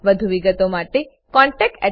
વધુ વિગતો માટે contactspoken tutorialorg પર લખો